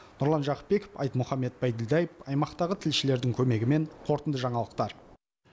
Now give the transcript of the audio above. нұрлан жақыпбеков айтмұхамед байділдаев аймақтағы тілшілердің көмегімен қорытынды жаңалықтар